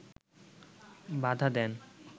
বাধা দেন